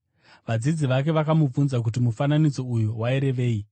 Vadzidzi vake vakamubvunza kuti mufananidzo uyu wairevei.